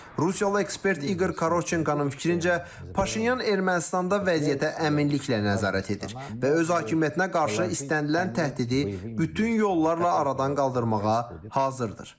Rusiyalı ekspert İqor Karoçenkonun fikrincə, Paşinyan Ermənistanda vəziyyətə əminliklə nəzarət edir və öz hakimiyyətinə qarşı istənilən təhdidi bütün yollarla aradan qaldırmağa hazırdır.